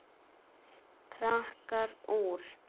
Krakkar úr